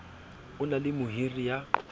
o na le mohiri ya